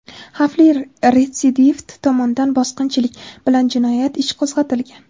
xavfli retsidivist tomonidan bosqinchilik) bilan jinoyat ishi qo‘zg‘atilgan.